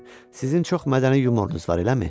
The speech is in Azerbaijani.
Sizin çox mədəni yumorunuz var, eləmi?